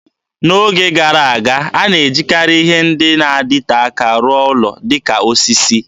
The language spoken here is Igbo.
N'oge gara aga, a na-ejikarị ihe ndị na-adịte aka arụ ụlọ, dịka osisi.